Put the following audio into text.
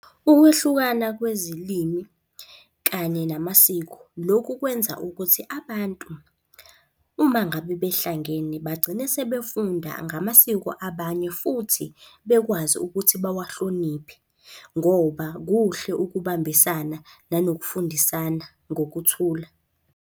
Ukwehlukana kwezilimi kanye namasiko. Lokhu kwenza ukuthi abantu uma ngabe behlangene bagcine sebefunda ngamasiko abanye futhi bekwazi ukuthi bawahloniphe, ngoba kuhle ukubambisana nanokufundisana ngokuthula.